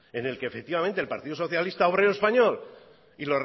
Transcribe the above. en el que efectivamente el partido socialista obrero español y